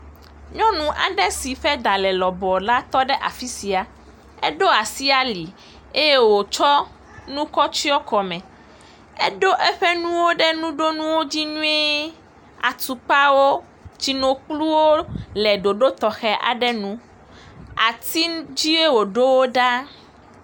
nyɔnu aɖe si ƒe ɖa le lɔbɔɔ la tɔɖe afisia eɖó asi ali eye wokɔ nu kɔ tsyɔ kɔmɛ eɖó nuwo ɖe nuɖonuwo dzi nyuie atukpawo tsinokpluwo le ɖoɖo tɔxɛ aɖe nu ati ŋtie wo ɖowo ɖa